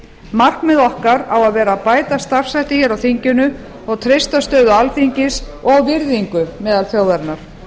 markmið okkar að að vera að bæta starfshætti hér á þinginu og treysta stöðu alþingis og virðingu meðal þjóðarinnar